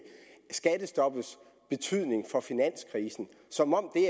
skattestoppets betydning for finanskrisen som om det